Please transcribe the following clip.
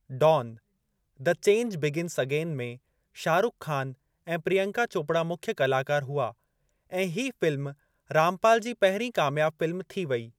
Don the change begins again में शाहरुख ख़ान ऐं प्रियंका चोपड़ा मुख्य कलाकार हुआ ऐं हीअ फ़िल्म रामपाल जी पहिरीं कामियाबु फ़िल्म थी वेई।